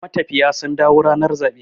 matafiya sun dawo ranar zaɓe